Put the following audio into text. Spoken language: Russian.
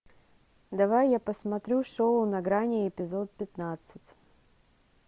давай я посмотрю шоу на грани эпизод пятнадцать